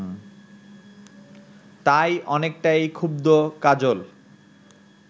তাই অনেকটাই ক্ষুব্ধ কাজল